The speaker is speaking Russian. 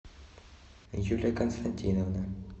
юлия константиновна